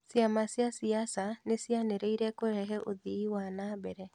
Ciama cia siasa nĩ ciĩranĩire kũrehe uthii wa nambere